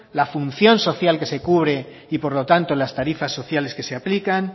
la función social que se cubre y por lo tanto las tarifas sociales que se aplican